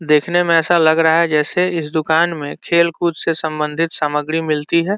देखने में ऐसा लग रहा है जैसे इस दुकान में खेल-कूद से संबंधित सामग्री मिलती है।